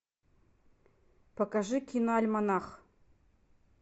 покажи киноальманах